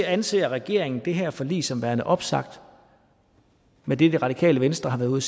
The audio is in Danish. anser regeringen det her forlig som værende opsagt med det det radikale venstre har været ude